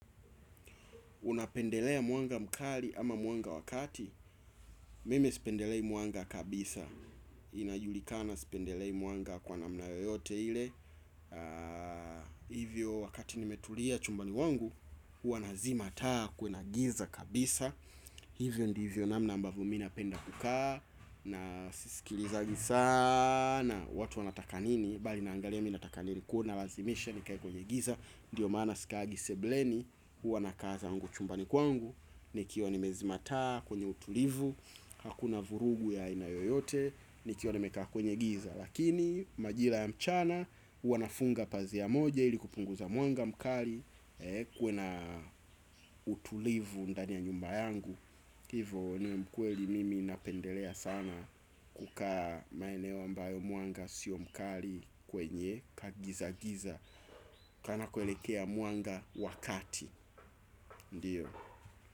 Unapendelea mwanga mkali ama mwanga wa kati mimi sipendelei mwanga kabisa inajulikana sipendelei mwanga kwa namna yote ile hivyo wakati nimetulia chumbani mwangu huwa na zima taa kuwe na giza kabisa hivyo ndivyo namna ambavyo mimi napenda kukaa na sisikilizagi sana watu wanataka nini, bali naangalia mimi nataka nini kwa hivyo nalazimisha nikae kwenye giza ndio maana sikaagi sebuleni. Huwa nakaa zangu chumbani kwangu. Nikiwa nime zima taa kwenye utulivu hakuna vurugu ya aina yoyote. Nikiwa nimekaa kwenye giza. Lakini majira ya mchana. Huwa nafunga pazia moja ili kupunguza mwanga mkali. Kuwe na utulivu. Ndani ya nyumba yangu hivo ni ukweli mimi napendelea sana. Kukaa maeneo ambayo mwanga sio mkali. Kwenye kagiza giza Kanako elekea mwanga wakati. Ndio.